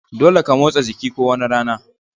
Dolle ka motsa jiki ko wani rana.